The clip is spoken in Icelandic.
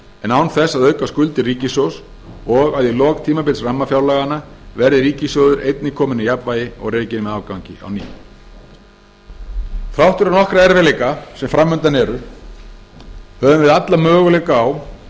en án þess að auka skuldir ríkissjóðs og að í lok tímabils rammafjárlaganna verði ríkissjóður einnig komin í jafnvægi og rekinn með afgangi á ný þrátt fyrir nokkra erfiðleika sem fram undan eru höfum við alla möguleika á